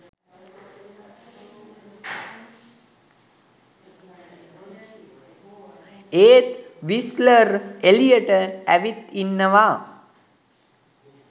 ඒත් විස්ලර් එලියට ඇවිත් ඉන්නව